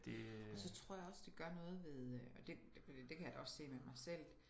Og så tror jeg også det gør noget ved øh og det kan jeg da også se med mig selv